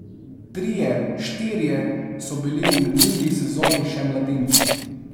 Trije, štirje so bili v minuli sezoni še mladinci.